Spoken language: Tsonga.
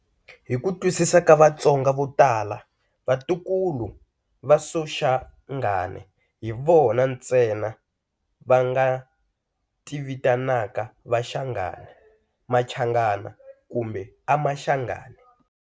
Hi ku twisisa ka Vatsonga vo tala, vatukulu va Soshangane hi vona ntsena va nga ti vitanaka vaShangane, Machangana kumbe Amashangane.